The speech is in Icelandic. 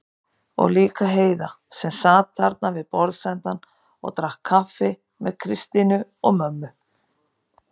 Og líka Heiða sem sat þarna við borðsendann og drakk kaffi með Kristínu og mömmu.